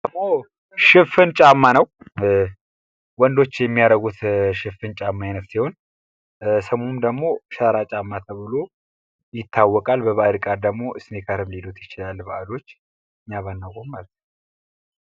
ሽፍን ጫማ ነው ፤ ወንዶች የሚያረጉት ሽፍን ጫማ አይነት ሲሆን ስሙም ደሞ ሸራ ጫማ ተብሎ ይታወቃል። በባህር ቃል ደሞ ስኔከር ሊሉት ይችላሉ ባእዶች እኛ ባናቀውም ማለት ነው።